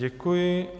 Děkuji.